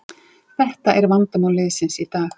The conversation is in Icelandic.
Þetta er vandamál liðsins í dag